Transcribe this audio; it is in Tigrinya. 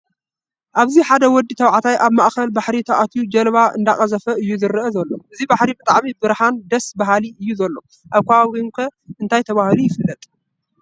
ኣብዚ ሓደ ወዲ ተባዕታይ ኣብ ማእከል ባሕሪ ኣትዮ ጃልባ እንዳቀዘፈ እዩ ዝረአ ዘሎ። እዚ ባሕሪ ብጣዕሚ ብሩሀን ደስ ባሃለን እዩ ዘሎ። ኣብ ከባቢኩም ከ እንታይ ተባሂሉ ይፈለጥ?